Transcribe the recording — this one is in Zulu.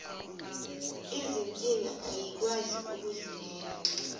izinkinga ayikwazi ukuzimela